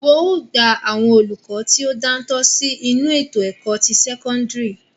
Wọn ó gba àwọn olùkọ tí ó dáńtọ́ sí inú ètò ẹ̀kọ́ ti sẹ́kọ́ńdírì.